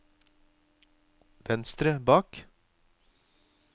venstre bak